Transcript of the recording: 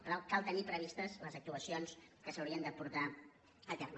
per tant cal tenir previstes les actuacions que s’haurien de portar a terme